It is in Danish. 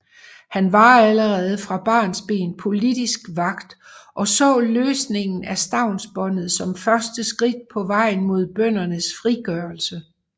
Han var allerede fra barnsben politisk vakt og så løsningen af stavnsbåndet som første skridt på vejen mod bøndernes frigørelse